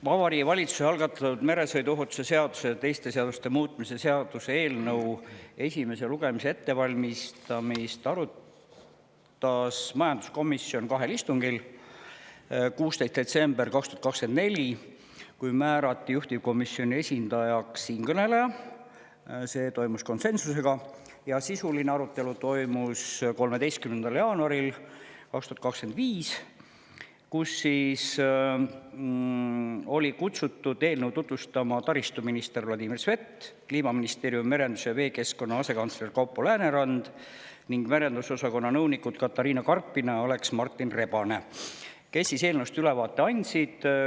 Vabariigi Valitsuse algatatud meresõiduohutuse seaduse ja teiste seaduste muutmise seaduse eelnõu esimese lugemise ettevalmistamist arutas majanduskomisjon kahel istungil: 16. detsembril 2024, kui määrati juhtivkomisjoni esindajaks siinkõneleja, see toimus konsensusega, ja sisuline arutelu oli meil 13. jaanuaril 2025, kui eelnõu tutvustama olid kutsutud taristuminister Vladimir Svet, Kliimaministeeriumi merenduse ja veekeskkonna asekantsler Kaupo Läänerand ning merendusosakonna nõunikud Katarina Karpina ja Aleks Martin Rebane, kes andsid eelnõust ülevaate.